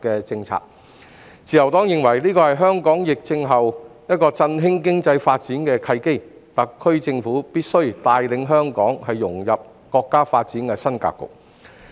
自由黨認為這是香港在疫情後振興經濟發展的契機，特區政府必須帶領香港融入國家發展的新格局。